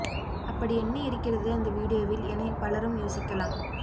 அப்படி என்ன இருக்கிறது அந்த வீடியோவில் எனப் பலரும் யோசிக்கலாம்